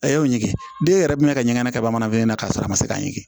A y'o ɲini den yɛrɛ minɛ ka ɲɛnɛ ka bamananfini na k'a sɔrɔ a ma se k'a ɲini